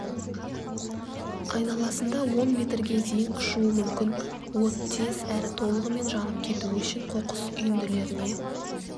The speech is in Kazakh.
айналасында он метрге дейін ұшуы мүмкін от тез әрі толығымен жанып кетуі үшін қоқыс үйінділеріне